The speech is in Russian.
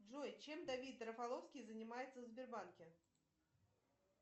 джой чем давид рафаловский занимается в сбербанке